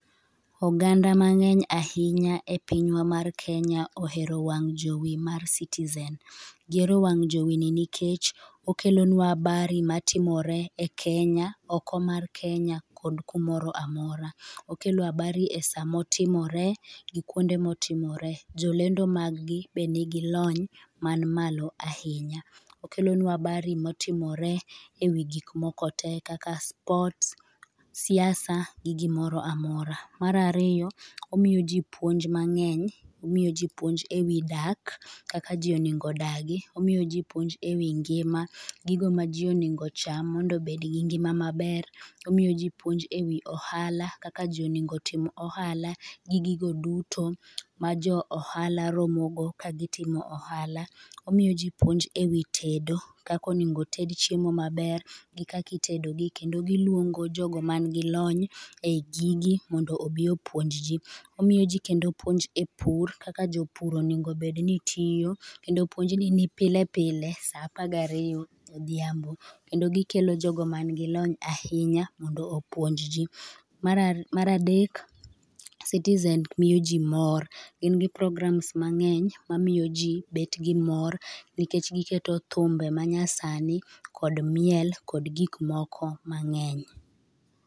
Oganda mangeny ahinya e pinywa mar Kenya ohero wang jowi mar Citizen. Gihero wang jowini ahinya nikech okelonua habari matimore e Kenya, oko mar Kenya kod kumoro amora. Okelo habari sama otimore gi kuonde ma otimoree. Jolendo mag gi be nigi lony man malo ahinya. Okelonua habari ma otimore ewi gik moko te kaka sports siasa gi gimoro amora. Mar ariyo omiyo ji puonj ma ng'eny, omiyo ji puonj ewi dak kaka ji onego odagi, omiyo ji puonj ewi ngima gigo maji onego ocham mondo obed gi ngima maber, omiyo ji piuonj ewi ohala kaka ji onego ji otim ohala, gi gigo dutomajo ohala romo go ka gitimo ohala. Omiyo ji puonj ewi tedo kaka onego ted chiemo maber gi kaka itedogi kendo giluongo jogo man gi lony e gigi mondo obi opuonj ji Omiyoji kendo puonj e pur kaka jopur onego obed ni tiyo kendo puonjni ni pile pile e saa apar gariyo odgiambo kendo gikelo jogo man gilony ahinya mondo opuonj ji. Mar adek, Citizen miyo ji mor, gin gi programas mang#eny mamiyojki bet gimor nikech giketo thumbe manyasani kod miel kod gik moko mang'eny.